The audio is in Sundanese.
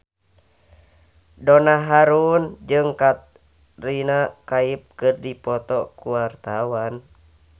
Donna Harun jeung Katrina Kaif keur dipoto ku wartawan